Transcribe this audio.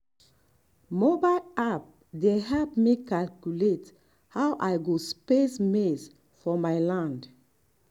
mobile app dey help me calculate how i go space maize for my land.